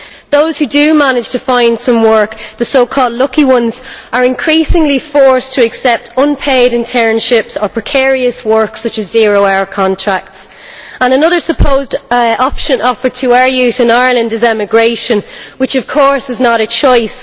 Those who do manage to find some work the so called lucky ones are increasingly forced to accept unpaid internships or precarious work such as zero hour contracts. Another supposed option offered to our youth in Ireland is emigration, which, of course, is not a choice.